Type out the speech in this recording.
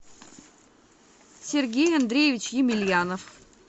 сергей андреевич емельянов